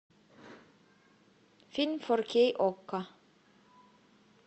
фильм фор кей окко